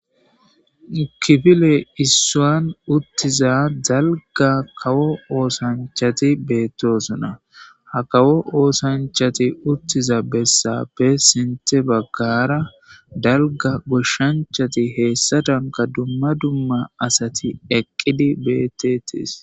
Mukifile issoan uttiza dalga kawo oosanchati beettosona ha kawo oosanchati uttiza bessapbe sinte baggara dalga goshshanchati heessa danka dumma dumma asati eqqidi beettetis.